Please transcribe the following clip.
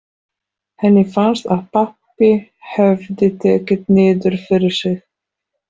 Henni fannst að pabbi hefði tekið niður fyrir sig.